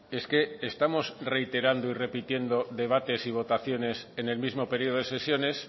es que estamos reiterando y repitiendo debates y votaciones en el mismo periodo de sesiones